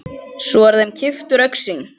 Svo er þeim kippt úr augsýn.